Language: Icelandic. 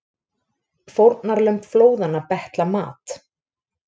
Fórnarlömb flóðanna betla mat